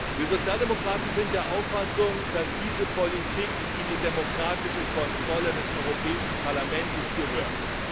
Wir Sozialdemokraten sind der Auffassung, dass diese Politik in die demokratische Kontrolle des Europäischen Parlaments gehört.